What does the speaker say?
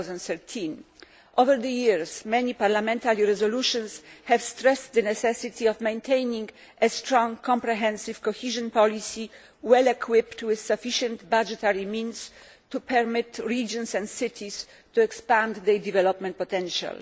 2013. Over the years, many parliamentary resolutions have stressed the necessity of maintaining a strong, comprehensive cohesion policy, well equipped with sufficient budgetary means to permit regions and cities to expand their development potential.